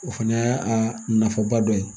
O fana y'a nafaba dɔ ye